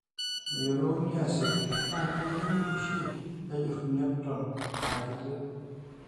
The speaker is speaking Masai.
meyiolouni asioki naa keyieu oshi nejuruni eton aa kiti